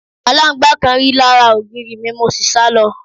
Alangba kan ri lara ogiri mi, mo si sa lo